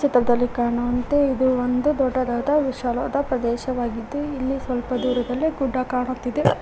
ಕಾಣುವಂತೆ ಇದು ಒಂದು ದೊಡ್ಡದಾದ ವಿಶಾಲವಾದ ಪ್ರದೇಶವಾಗಿದ್ದು ಇಲ್ಲಿ ಸ್ವಲ್ಪ ದೂರದಲ್ಲಿ ಗುಡ್ಡ ಕಾಣುತ್ತಿದೆ.